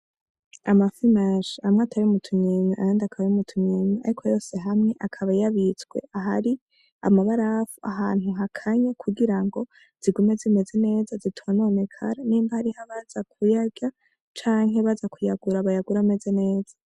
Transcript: Amafimanshi hamwe atari mutunyenya ayandi akaba ri mutunyenya, ariko yose hamwe akaba yabitswe ah ari amabarafu ahantu ha kanya kugira ngo zigume zimeze neza zitumanomekara n'imbi hariho baza kuyarya canke baza kuyagura abayagura ameze neza.